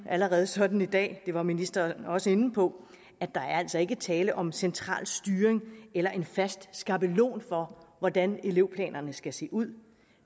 allerede sådan i dag det var ministeren også inde på at der altså ikke er tale om central styring eller en fast skabelon for hvordan elevplanerne skal se ud